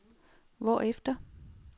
hvorefter